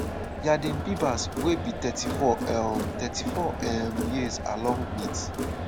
yarden bibas wey be 34 um 34 um years along wit